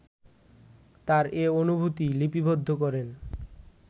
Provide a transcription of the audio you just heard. তার এ অনুভূতি লিপিবদ্ধ করেন